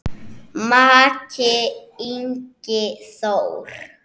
Maki, Ingi Þór.